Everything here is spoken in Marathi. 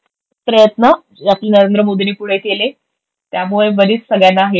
प्रयत्न नरेंद्र मोदींनी पुढे केले त्यामुळे बरीच सगळ्यांना हे झाली.